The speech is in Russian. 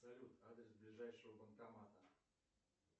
салют адрес ближайшего банкомата